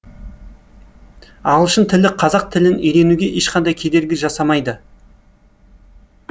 ағылшын тілі қазақ тілін үйренуге ешқандай кедергі жасамайды